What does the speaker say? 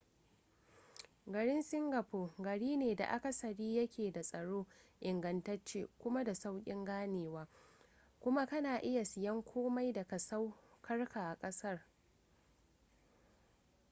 garin singapore gari ne da akasari ya ke da tsaro ingantacce kuma da saukin ganewa kuma ka na iya siyen komai daga saukarka a kasar